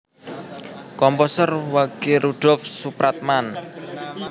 Komposer Wage Rudolf Supratman